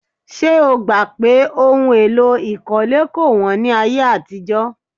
Ṣé o gbà pé ohun èlò ìkọ́lé kò wọ́n ní ayé àtijọ́?